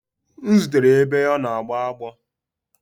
M zutere ya ebe ọ na agbọ